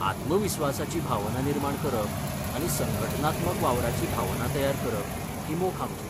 आत्मविस्वासाची भावना निर्माण करप आनी संघटनात्मक वावराची भावना तयार करप ही मोख आमची.